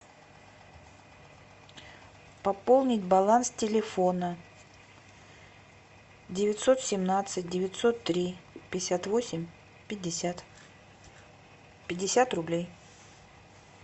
пополнить баланс телефона девятьсот семнадцать девятьсот три пятьдесят восемь пятьдесят пятьдесят рублей